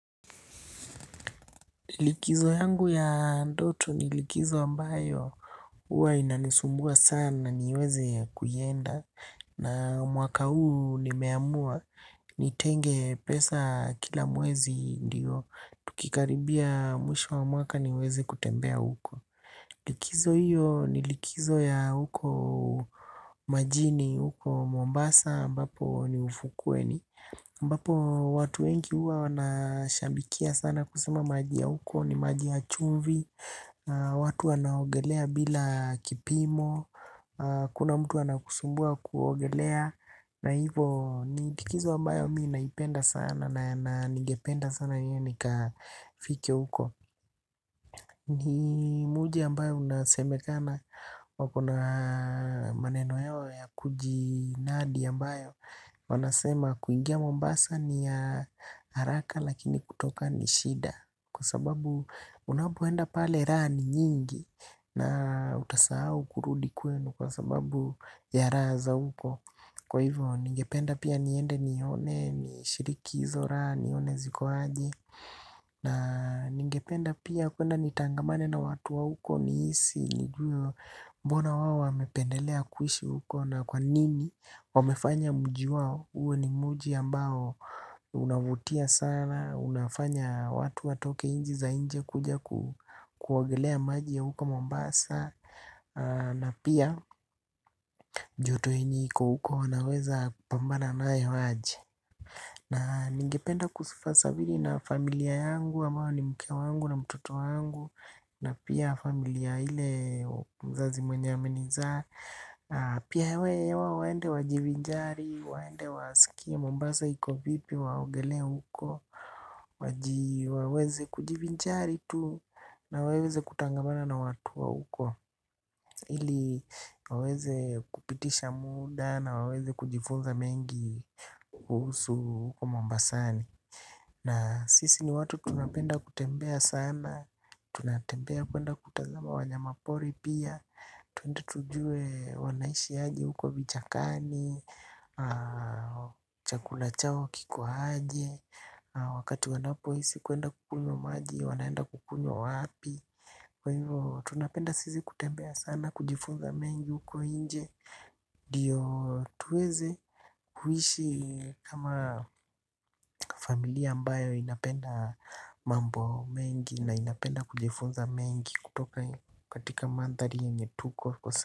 Likizo yangu ya ndoto ni likizo ambayo huwa inanisumbua sana niweze kuienda na mwaka huu nimeamua nitenge pesa kila mwezi ndiyo tukikaribia mwisho wa mwaka niweze kutembea huko. Likizo hiyo ni likizo ya huko majini, huko Mombasa amabapo ni ufukweni. Ambapo.watu wengi sana huwa wanashabikia sana kuswim maji ya huko ni maji ya chumvi. Watu wanaogelea bila kipimo. Hakuna mtu anakusumbua kuogelea. Na hivo ni likizo ambayo mimi naipenda sana na nigependa sana niende nikafike huko. Ni mji ambayo unasemekana wakona maneno yao ya kujinadi ambayo wanasema kuingia mambasa ni haraka lakini kutoka ni shida. Kwa sababu unapoenda pale raha ni nyingi. Na utasahau kurudi kwenu kwa sababu ya raha za huko. Kwa hivyo, ningependa pia niende nione, nishiriki hizo raha nione ziko aje. Na ningependa pia kuenda nitangamane na watu wa huko. Nihisi nijue mbona wao wamependelea kuishi huko na kwa nini wamefanya mji wao uwe ni mji ambao unavutia sana, unafanya watu watoke nchi za inje kuja kuogelea maji ya huko Mombasa. Na pia joto yenye iko huko naweza kupambana nayo aje. Na ningependa kusafiri na familia yangu, ambao ni mke wangu na mtoto wangu. Na pia familia ile mzazi mwenye amenizaa. Pia hao waende wajivinjari, waende wasikie Mombasa iko vipi waogelee huko. Waweze kujivinjari tu na waweze kutangamana na watu wa huko ili waweze kupitisha muda na waweze kujifunza mengi. Kuhusu huko Mombasani. Na sisi ni watu tunapenda kutembea sana. Tunatembea kuenda kutazama wanyamapori pia. Tuende tujue wanaishi aje huko vichakani. Chakula chao kiko aje. Wakati wanapohisi kuenda kukunywa maji waanaenda kukunywa wapi. Kwa hivyo tunapenda sisi kutembea sana. Kujifunza mengi huko nje. Ndio tuweze kuishi kama familia ambayo inapenda mambo mengi na inapenda kujifunza mengi kutoka katika mandhari yenye tuko kwa saa.